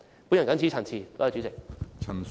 我謹此陳辭，多謝主席。